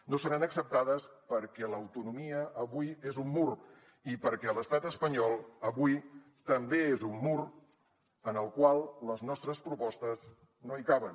no seran acceptades perquè l’autonomia avui és un mur i perquè l’estat espanyol avui també és un mur en el qual les nostres propostes no caben